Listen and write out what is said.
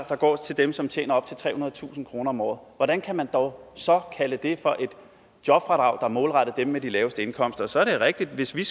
der går til dem som tjener op til trehundredetusind kroner om året hvordan kan man dog så kalde det for et jobfradrag der er målrettet dem med de laveste indkomster så er det rigtigt at hvis vi